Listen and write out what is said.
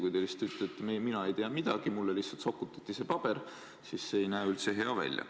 Kui te lihtsalt ütlete, et mina ei tea midagi, mulle lihtsalt sokutati see paber, siis see ei näe üldse hea välja.